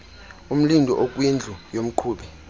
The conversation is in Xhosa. umlindi okwindlu yomqhubi